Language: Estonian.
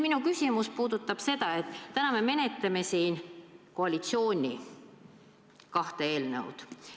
Minu küsimus puudutab seda, et täna me menetleme siin koalitsiooni kahte eelnõu.